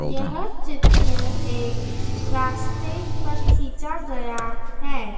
यह चित्र एक रास्ते पर खींचा गया है।